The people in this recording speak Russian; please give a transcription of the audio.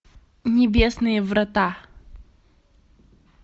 небесные врата